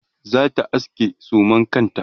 zata aske suman kanta